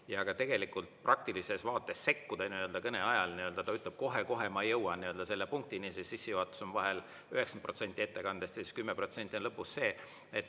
Ja ka tegelikult praktilises vaates sekkuda kõne ajal, ta ütleb kohe-kohe ma jõuan selle punktini, see sissejuhatus on vahel 90% ettekandest ja siis 10% on lõpus see.